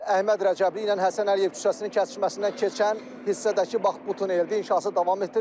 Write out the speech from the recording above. Əhməd Rəcəbli ilə Həsən Əliyev küçəsinin kəsişməsindən keçən hissədəki bax bu tuneldir, inşası davam etdirilir.